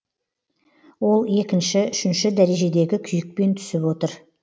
ол екінші үшінші дәрежедегі күйікпен түсіп отыр